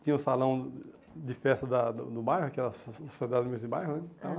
Tinha o salão de festa da do do bairro, que era a sociedade do mesmo bairro né. Ãh